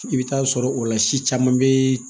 I bɛ taa sɔrɔ o la si caman bɛ